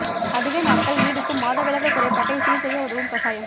அதிக நாட்கள் நீடிக்கும் மாதவிலக்கு குறைபாட்டைச் சீர் செய்ய உதவும் கசாயம்